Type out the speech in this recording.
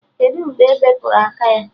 Kedụ mgbe ebepụrụ aka ya?